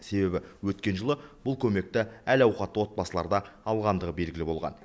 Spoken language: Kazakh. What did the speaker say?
себебі өткен жылы бұл көмекті әл ауқатты отбасылар да алғандығы белгілі болған